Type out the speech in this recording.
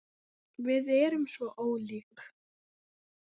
Við erum svo ólík.